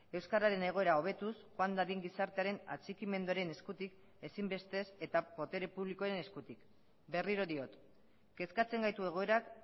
euskararen egoera hobetuz joan dadin gizartearen atxikimenduaren eskutik ezinbestez eta botere publikoen eskutik berriro diot kezkatzen gaitu egoerak